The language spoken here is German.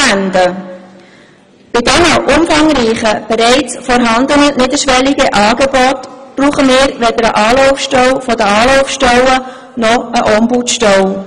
Bei diesen umfangreichen, bereits vorhandenen niederschwelligen Angeboten brauchen wir weder eine Anlaufstelle der Anlaufstellen noch eine Ombudsstelle.